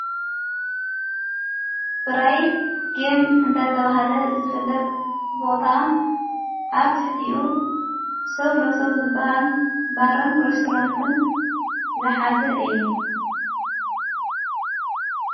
ብራይት ጌም እንዳ ተብሃለ ዝፍለጥ ቦታ ኣብ ቲሕቲኡ ሰው ለ ሰዉ ዝበሃል ባርን ረስተራንትን ዝሓዘ እዩ።